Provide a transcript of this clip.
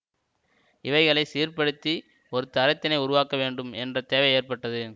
இவைகளை சீர்படுத்தி ஒரு தரத்தினை உருவாக்க வேண்டும் என்ற தேவை ஏற்பட்டது